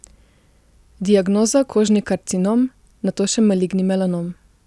Diagnoza kožni karcinom, nato še maligni melanom.